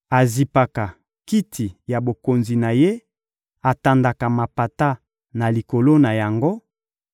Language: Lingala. azipaka kiti ya bokonzi na Ye, atandaka mapata na likolo na yango;